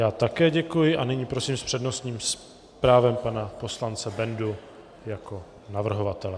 Já také děkuji a nyní prosím s přednostním právem pana poslance Bendu jako navrhovatele.